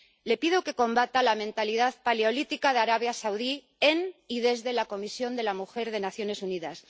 Le pido que combata la mentalidad paleolítica de Arabia Saudí en y desde la Comisión de la mujer de las Naciones Unidas.